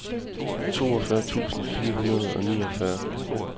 toogfyrre tusind fire hundrede og niogfyrre